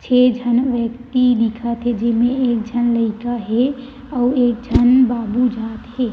छह जन व्यक्ति दिखत हे जेमे एक जन लयका हे और एक जन बाबू जात हे--